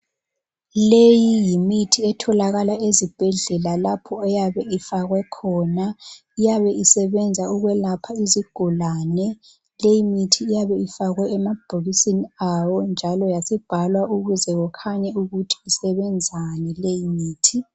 Leyi yimithi etholakala ezibhedlela lapho eyabe ifakwe khona ,iyabe isebenza ukwelapha izigulane .Leyi mithi iyabe ifakwe emabhokisini ayo yasibhalwa ukuze kukhanye ukuthi isebenzani.